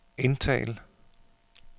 indtal